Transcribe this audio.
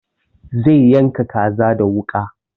Zai yanka kaza da wuƙa